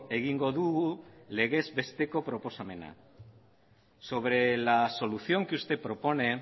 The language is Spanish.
egingo dugu legez besteko proposamena sobre la solución que usted propone